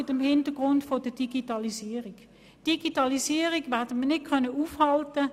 Wir können die Digitalisierung nicht aufhalten.